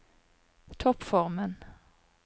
toppformen